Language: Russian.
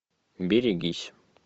берегись